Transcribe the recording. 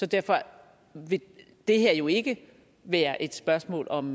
derfor vil det her jo ikke være et spørgsmål om